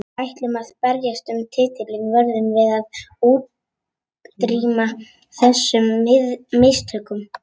Ef við ætlum að berjast um titilinn verðum við að útrýma þessum mistökum.